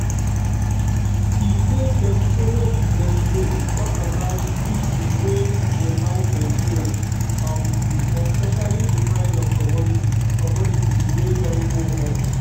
e say dem follow di presido tok sabout issues wey dey bite nigerians um especially di price of commodities commodities wey don go up.